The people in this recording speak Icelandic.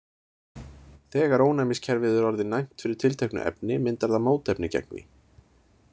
Þegar ónæmiskerfið er orðið næmt fyrir tilteknu efni myndar það mótefni gegn því.